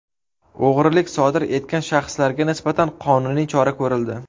O‘g‘rilik sodir etgan shaxslarga nisbatan qonuniy chora ko‘rildi.